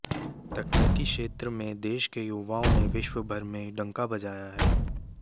तकनीकी क्षेत्र में देश के युवाओं ने विश्व भर में डंका बजाया है